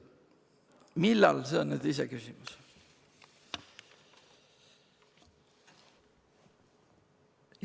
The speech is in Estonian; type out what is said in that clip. Millal – see on iseküsimus.